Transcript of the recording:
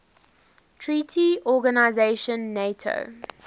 treaty organisation nato